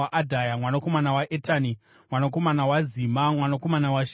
mwanakomana waEtani, mwanakomana waZima, mwanakomana waShimei,